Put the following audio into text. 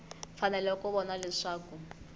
fanele ku va kona leswaku